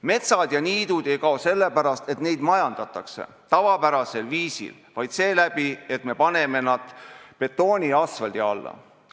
Metsad ja niidud ei kao sellepärast, et neid majandatakse tavapärasel viisil, vaid seeläbi, et me paneme nad betooni ja asfaldi alla.